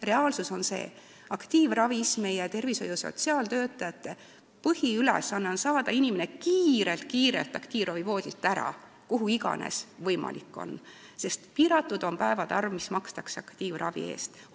Reaalsus on see, et aktiivravis on meie tervishoiu- ja sotsiaaltöötajate põhiülesanne saada inimene kiirelt-kiirelt aktiivravivoodist ära, kuhu iganes siis võimalik on ta saata, sest piiratud on nende päevade arv, kui aktiivravi eest makstakse.